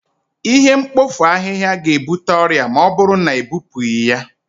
Ihe mkpofu ahịhịa ga-ebute ọrịa ma ọ bụrụ na ebupụghị ya